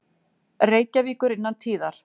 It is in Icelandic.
Reykjavíkur innan tíðar.